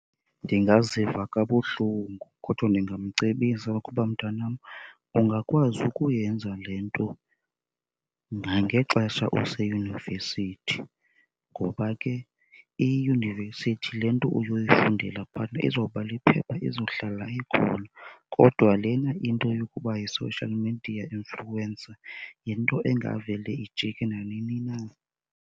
Ndingaziva kabuhlungu kodwa ndingamcebisa ukuba, mntanam, ungakwazi ukuyenza le nto nangexesha oseyunivesithi ngoba ke iyunivesithi le nto uzoyifundela phayana izoba liphepha izohlala ikhona. Kodwa lena into yokuba yi-social media influencer yinto engavele ijike nanini na.